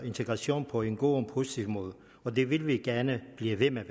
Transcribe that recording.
integration på en god og positiv måde og det vil vi gerne blive ved med at